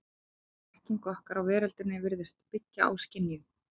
Öll þekking okkar á veröldinni virðist byggja á skynjun.